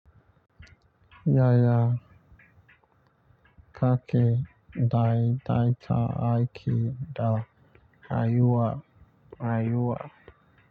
Yaya ka ke dai daita aiki da rayuwa.